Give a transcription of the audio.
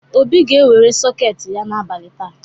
Obi ga-ewere sọketị ya n’abalị taa.